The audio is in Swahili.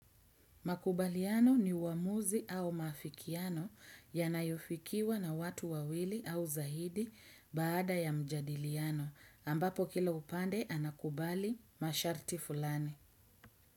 Makubaliano ni uamuzi au maafikiano yanayofikiwa na watu wawili au zahidi baada ya mjadiliano ambapo kila upande anakubali masharti fulani.